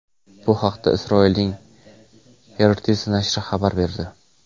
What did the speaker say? Bu haqda Isroilning Haaretz nashri xabar berdi .